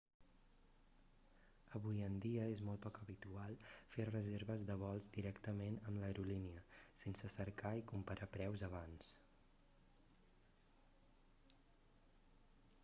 avui en dia és molt poc habitual fer reserves de vols directament amb l'aerolínia sense cercar i comparar preus abans